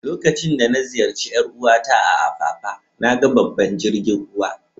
Lokacin da na ziyace yar uwa ta a'Apapa, na gan babban jirigin ruwa.